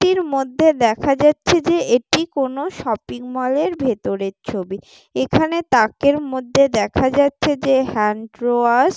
এটির মধ্যে দেখা যাচ্ছে যে এটি কোন শপিং মল এর ভেতরের ছবি ।এখানে তাকের মধ্যে দেখা যাচ্ছে যে হ্যান্ডওয়াশ ।